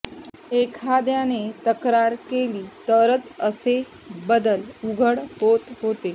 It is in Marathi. एखाद्याने तक्रार केली तरच असे बदल उघड होत होते